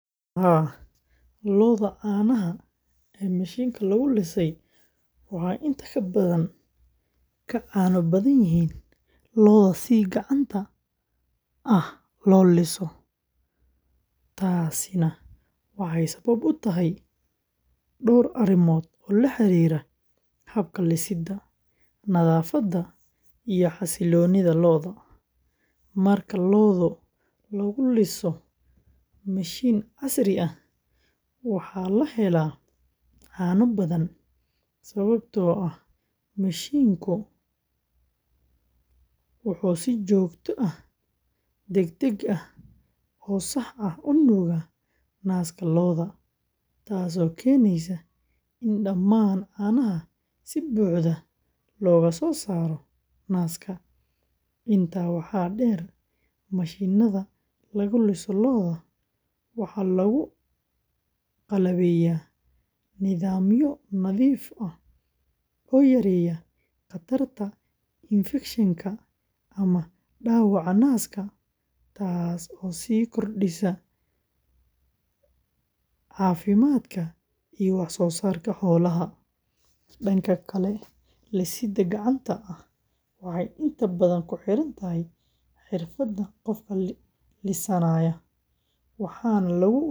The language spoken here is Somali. Haa, lo’da caanaha ee mishiinka lagu lisay waxay inta badan ka caano badan yihiin lo’da si gacanta ah loo liso, taasina waxay sabab u tahay dhowr arrimood oo la xiriira habka lisidda, nadaafadda, iyo xasilloonida lo’da. Marka lo’da lagu liso mishiin casri ah, waxaa la helaa caano badan sababtoo ah mishiinku wuxuu si joogto ah, degdeg ah, oo sax ah u nuugaa naaska lo’da, taasoo keenaysa in dhammaan caanaha si buuxda looga soo saaro naaska. Intaa waxaa dheer, mishiinnada lagu liso lo’da waxaa lagu qalabeeyaa nidaamyo nadiif ah oo yareeya khatarta infekshanka ama dhaawaca naaska, taasoo sii kordhisa caafimaadka iyo wax-soosaarka xoolaha.